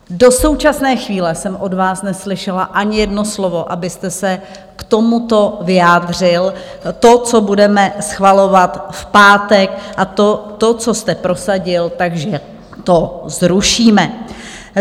Do současné chvíle jsem od vás neslyšela ani jedno slovo, abyste se k tomuto vyjádřil - to, co budeme schvalovat v pátek, a to, co jste prosadil, takže to zrušíme.